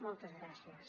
moltes gràcies